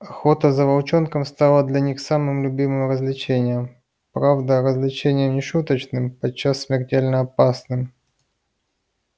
охота за волчонком стала для них самым любимым развлечением правда развлечением не шуточным и подчас смертельно опасным